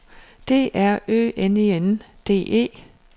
D R Ø N E N D E